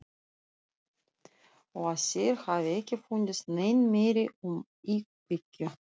Og að þeir hafi ekki fundið nein merki um íkveikju.